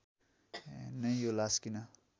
नै यो लाश किन